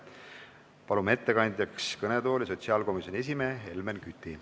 Palume ettekandjaks kõnetooli sotsiaalkomisjoni esimehe Helmen Küti.